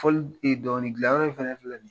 Fɔli dɔnkili gilan yɔrɔ in fɛnɛ filɛ ni ye